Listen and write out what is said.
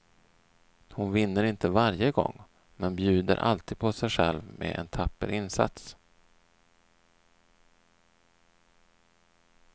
Hon vinner inte varje gång, men bjuder alltid på sej själv med en tapper insats.